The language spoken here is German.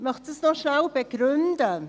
Ich möchte dies noch kurz begründen.